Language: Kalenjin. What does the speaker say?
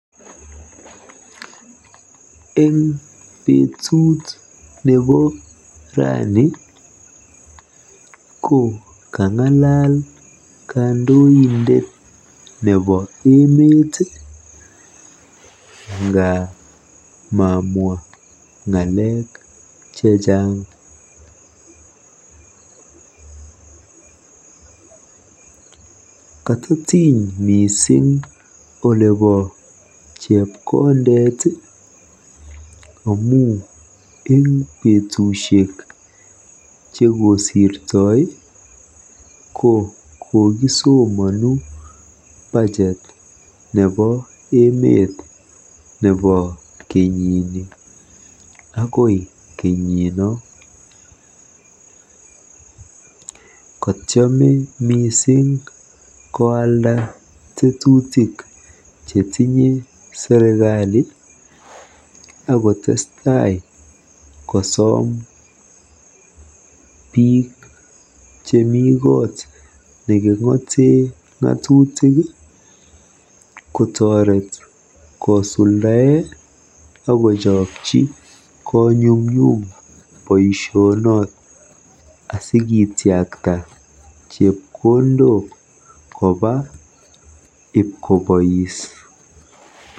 Eng betut nebo rani ko kang'alal kandoindet nebo emet nga mamwa ng'alek chechang. Kototiny mising olebo chepkondet amu eng betusiek chekosirtoi ko kokisomanu Bajet nebo emet nebo kenyini akoi kenyino. Kotiome mising koalda tetutik chetinye serikali